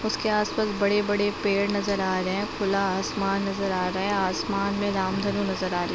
उसके आस-पास बड़े-बड़े पेड़ नज़र आ रहे हैं। खुला आसमान नज़र आ रहा है। आसमान में रामधनु नज़र आ रही --